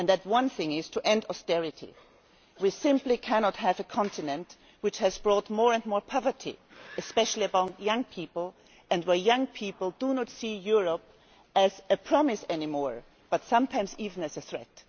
One thing was to end austerity. We simply cannot have a continent with more and more poverty, especially among young people, where people do not see Europe as a promise anymore, but sometimes even as a threat.